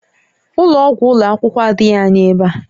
Ụlọ ọgwụ ụlọ akwụkwọ adịghị anya ebe a